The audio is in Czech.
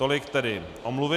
Tolik tedy omluvy.